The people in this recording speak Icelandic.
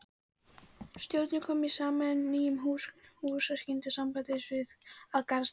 Stjórnin kom saman í nýjum húsakynnum sambandsins að Garðastræti